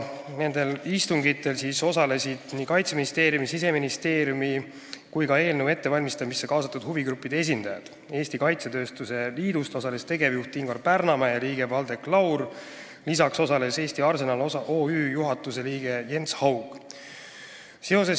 Nendel istungitel osalesid nii Kaitseministeeriumi, Siseministeeriumi kui ka eelnõu ettevalmistamisse kaasatud huvigruppide esindajad: Eesti Kaitsetööstuse Liidu tegevjuht Ingvar Pärnamäe ja liige Valdek Laur, lisaks OÜ Eesti Arsenal juhatuse liige Jens Haug.